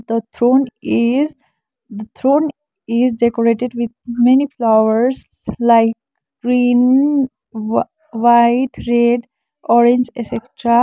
the thrown is the thrown is decorated with many flowers like green whi white red orange etc.